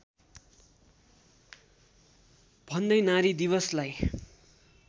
भन्दै नारी दिवसलाई